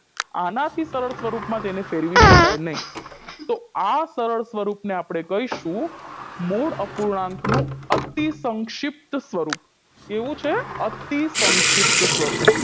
આનાથી સરળ સ્વરૂપમાં તેને ફેરવી શકાય નહી તો આ સરળ સ્વરૂપને આપણે કહીશું મૂળ અપૂર્ણાંકનું અતિસંક્ષિપ્ત સ્વરૂપ કેવું છે અતિસંક્ષિપ્ત સ્વરૂપ